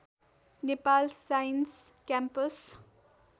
Nepal science campus